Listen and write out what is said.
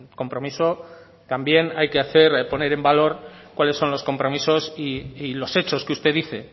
compromiso también hay que hacer poner en valor cuáles son los compromisos y los hechos que usted dice